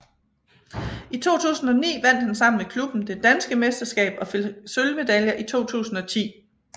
I 2009 vandt han sammen med klubben det danske mesterskab og fik sølvmedaljer i 2010